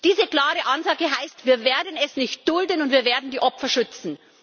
Diese klare Ansage heißt Wir werden es nicht dulden, und wir werden die Opfer schützen.